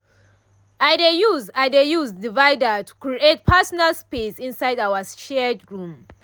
i dey use i dey use divider to create personal space inside our shared room.